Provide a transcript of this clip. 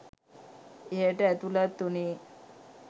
එයට ඇතුළත් වුනේ